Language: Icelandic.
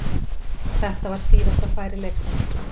Þetta var síðasta færi leiksins.